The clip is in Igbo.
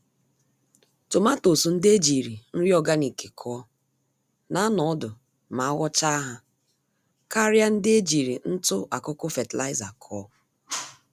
Tomatoes ndị ejírí nri ọganik kụọ, na anọ ọdụ ma aghọchaa ha, karịa ndị nke ejiri ntụ-akụkụ fertilizer kụọ.